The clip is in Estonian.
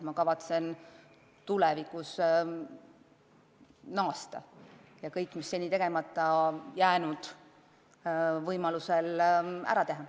Ma kavatsen tulevikus naasta ja kõik, mis seni tegemata jäänud, võimalusel ära teha.